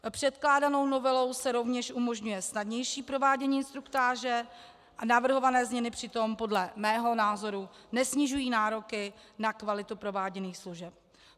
Předkládanou novelou se rovněž umožňuje snadnější provádění instruktáže a navrhované změny přitom podle mého názoru nesnižují nároky na kvalitu prováděných služeb.